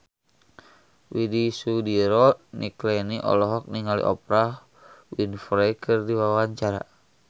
Widy Soediro Nichlany olohok ningali Oprah Winfrey keur diwawancara